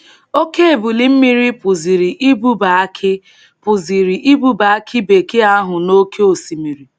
Oke ebili mmiri pụziri ibuba akị pụziri ibuba akị bekee ahụ n’oke osimiri.